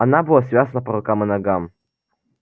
она была связана по рукам и ногам